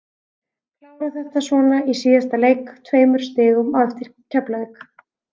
Klára þetta svona í síðasta leik, tveimur stigum á eftir Keflavík.